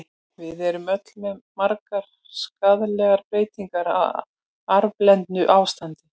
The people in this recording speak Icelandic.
Við erum öll með margar skaðlegar breytingar, á arfblendnu ástandi.